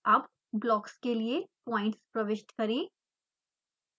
अब ब्लॉक्स के लिए पॉइंट्स प्रविष्ट करें